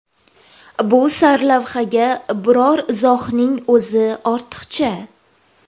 Bu sarlavhaga biror izohning o‘zi ortiqcha!